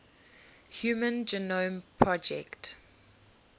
human genome project